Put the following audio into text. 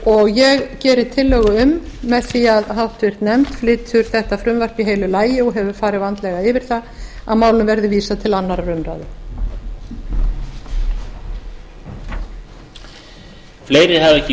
og ég geri tillögu um með því að háttvirtur nefnd flytur þetta frumvarp í heilu lagi og hefur farið vandlega yfir það að málinu verði vísað til annarrar umræðu